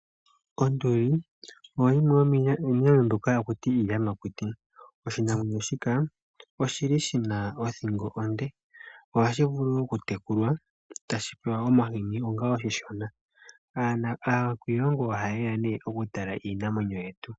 Onduli oyo yimwe yomiinamwenyo mbyoka hakutiwa iiyamakuti .oshinamwenyo shika oshili shina othingo . Ohashi vulu okutekulwa otashi pewa omahini onga oshishona. aakwiilongo oha yeya nee okutala iinamwenyo yetu.